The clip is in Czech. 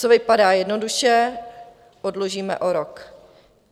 Co vypadá jednoduše, odložíme o rok.